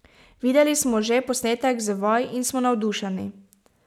Videli smo že posnetek z vaj in smo navdušeni.